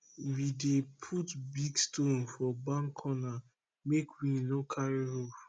we dey put big stone for barn corner make wind no carry roof